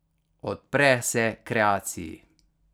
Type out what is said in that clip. Odpre se kreaciji.